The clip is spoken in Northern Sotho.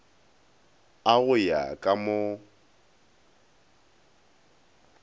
a go ya ka mo